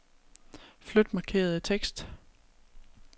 Flyt markerede tekst.